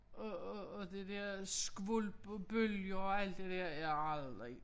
Og og og det der skvulp og bølger og alt det dér jeg har aldrig